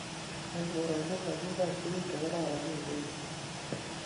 eng korot nitok kigoib tuguk chegororon kogeny